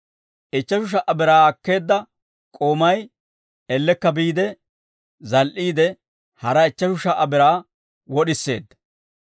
Ichcheshu sha"a biraa akkeedda k'oomay ellekka biide zal"iide, hara ichcheshu sha"a biraa wod'iseedda.